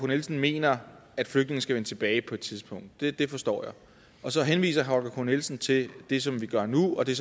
nielsen mener at flygtninge skal vende tilbage på et tidspunkt det det forstår jeg og så henviser herre holger k nielsen til det som vi gør nu og det